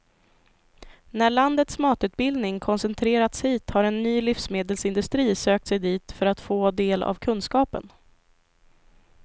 När landets matutbildning koncentrerats hit har en ny livsmedelsindustri sökt sig dit för att få del av kunskapen.